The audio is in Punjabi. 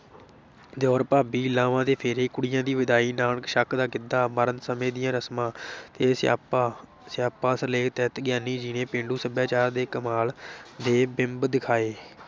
ਦਿਉਰ ਭਾਬੀ, ਲਾਵਾਂ ਤੇ ਫੇਰੇ, ਕੁੜੀਆਂ ਦੀ ਵਿਦਾਈ, ਨਾਨਕ-ਛੱਕ ਦਾ ਗਿੱਧਾ, ਮਰਨ ਸਮੇਂ ਦੀਆਂ ਰਸਮਾਂ ਤੇ ਸਿਆਪਾ ਸਿਆਪਾ ਸਿਰਲੇਖ ਤਹਿਤ ਗਿਆਨੀ ਜੀ ਨੇ ਪੇਂਡੂ ਸੱਭਿਆਚਾਰ ਦੇ ਕਮਾਲ ਦੇ ਬਿੰਬ ਦਿਖਾਏ,